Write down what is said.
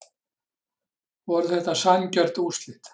Voru þetta sanngjörn úrslit?